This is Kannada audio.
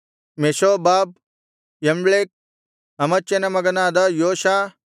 ಮೆಷೋಬಾಬ್ ಯಮ್ಲೇಕ್ ಅಮಚ್ಯನ ಮಗನಾದ ಯೋಷ